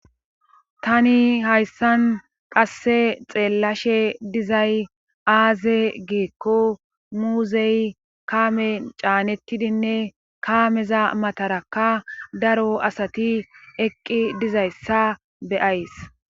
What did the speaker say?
Taani hayssan qasse xeellashe dizay aaze giikko muuzey kaamen caanettidine kaameza matarakka Dari asati eqqi dizayssa be7ays.